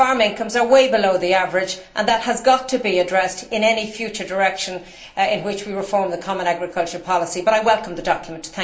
Farming comes way below the average and that has got to be addressed in any future direction in which we reform the common agricultural policy, but I welcome the document.